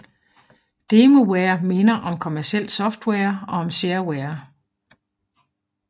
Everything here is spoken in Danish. Demoware minder om kommercielt software og om shareware